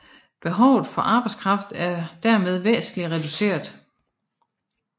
Behovet for arbejdskraft er dermed væsentlig reduceret